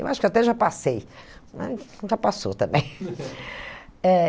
Eu acho que até já passei, mas nunca passou também. Eh